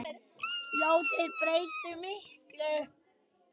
Já, þau breyttu miklu.